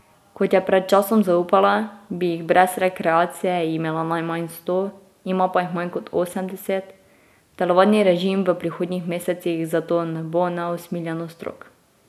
Kot je pred časom zaupala, bi jih brez rekreacije imela najmanj sto, ima pa jih manj kot osemdeset, telovadni režim v prihodnjih mesecih zato ne bo neusmiljeno strog.